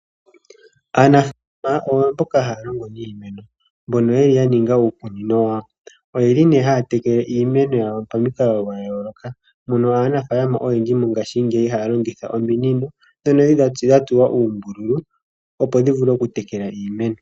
Aanafalama oyo mboka haya longo niimeno, ya ninga uukunino wawo. Ohaya tekele iimeno yawo pamikalo dha yooloka mono aanafaalama oyendji mongashingeyi haya longitha ominino ndhono dha tsuwa uumbululu, opo dhi vule okutekela iimeno.